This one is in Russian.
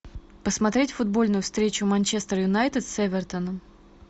посмотреть футбольную встречу манчестер юнайтед с эвертоном